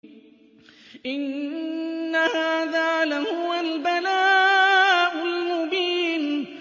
إِنَّ هَٰذَا لَهُوَ الْبَلَاءُ الْمُبِينُ